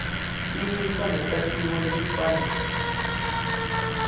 timiso netakhiwo letifanele